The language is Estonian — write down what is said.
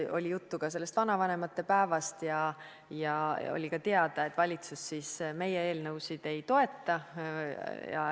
Oli juttu ka vanavanemate päevast ja oli teada, et valitsus meie eelnõusid ei toeta.